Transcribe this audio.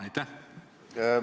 Aitäh!